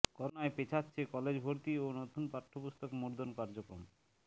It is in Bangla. করোনায় পেছাচ্ছে কলেজ ভর্তি ও নতুন পাঠ্যপুস্তক মুদ্রণ কার্যক্রম